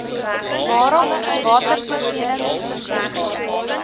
waarop watervoorsiening verseker